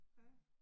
Ja